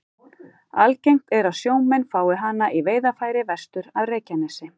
Algengt er að sjómenn fái hana í veiðarfæri vestur af Reykjanesi.